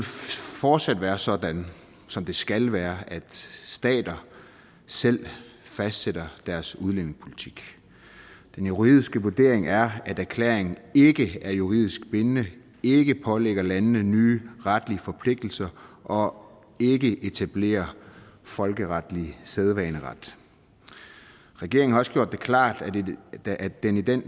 fortsat være sådan som det skal være at stater selv fastsætte deres udlændingepolitik den juridiske vurdering er at erklæringen ikke er juridisk bindende ikke pålægger landene nye retlige forpligtelser og ikke etablerer folkeretlig sædvaneret regeringen har også gjort det klart at den i den